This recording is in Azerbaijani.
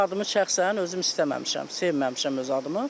Öz adımı şəxsən özüm istəməmişəm, sevməmişəm öz adımı.